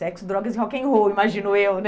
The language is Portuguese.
Sexo, drogas e rock and roll, imagino eu, né?